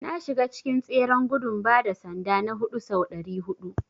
Na shiga cikin tseren gudun bada sanda na huɗu sau ɗari huɗu.